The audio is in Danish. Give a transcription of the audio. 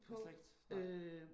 Det har slet ikke nej?